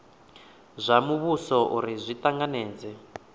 zwa muvhuso uri zwi tanganedze